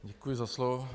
Děkuji za slovo.